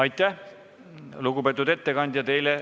Aitäh, lugupeetud ettekandja!